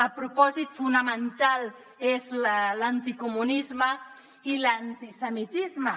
el propòsit fonamental és l’anticomunisme i l’antisemitisme